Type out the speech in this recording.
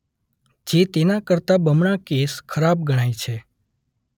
જે તેના કરતાં બમણા કેસ ખરાબ ગણાય છે.